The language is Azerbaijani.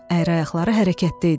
Əyri ayaqları hərəkətdə idi.